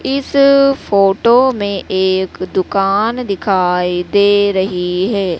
इस फोटो में एक दुकान दिखाई दे रही है।